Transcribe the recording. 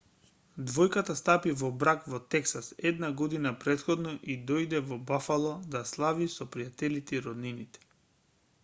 двојката стапи во брак во тексас една година претходно и дојде во бафало да слави со пријателите и роднините